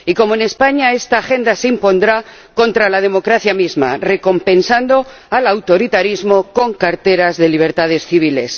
Y como en España, esta agenda se impondrá contra la democracia misma, recompensando al autoritarismo con carteras de libertades civiles.